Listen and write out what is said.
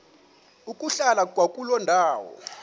ukuhlala kwakuloo ndawo